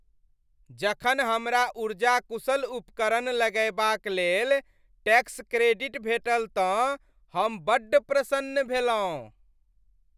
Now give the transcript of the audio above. जखन हमरा ऊर्जा कुशल उपकरण लगयबाक लेल टैक्स क्रेडिट भेटल तँ हम बड्ड प्रसन्न भेलहुँ।